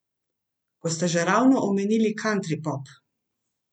Ko ste že ravno omenili kantripop.